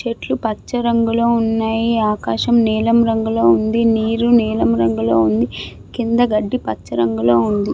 చెట్లు పచ్చ రంగులో ఉన్నాయి. ఆకాశం నీలం రంగులో ఉంది. నీరు నీలం రంగులో ఉంది. కింద గడ్డి పచ్చ రంగులో ఉంది.